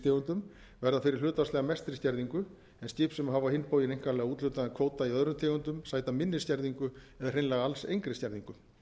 fisktegundum verða fyrir hlutfallslega mestri skerðingu en skip sem hafa á hinn bóginn einkanlega úthlutaðan kvóta í öðrum tegundum sæta minni skerðingu eða hreinlega alls engri skerðingu